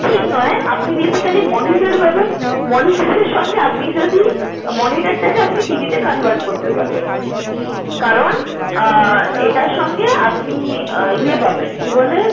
ঠিক নয় আপনি basically monitor পাবেন। monitor এর সঙ্গে আপনি যদি monitor টা কে আপনি TV তে convert করতে পারবেন কারন এটার সঙ্গে আপনি ইয়ে পাবেন কি বলে